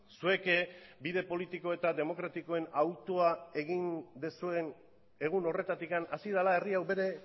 zuek bide politiko eta demokratikoen hautua egin duzuen egun horretatik hasi dela herria hau bere